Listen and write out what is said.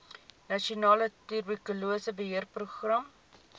nasionale tuberkulose beheerprogram